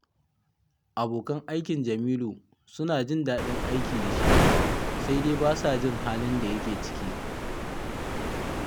Abokan aikin Jamilu suna jin daɗin aiki da shi, sai dai ba sa jin halin da yake ciki